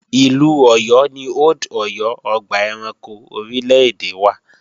Ìlú Ọ̀yọ́ ni Old Ọ̀yọ́ ọgbà ẹranko orílè-èdè wà